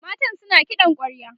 matan suna kiɗan kwarya